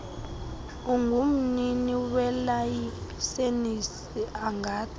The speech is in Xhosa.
ungumnini welayisenisi angathi